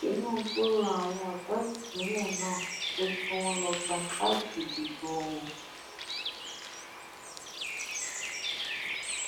tinúbù rọ àwọn ọdọ ìpínlẹ náà pé kí wọn lọọ gba káàdì ìdìbò wọn